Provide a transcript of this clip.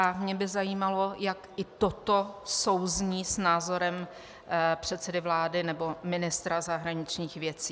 A mně by zajímalo, jak i toto souzní s názorem předsedy vlády nebo ministra zahraničních věcí.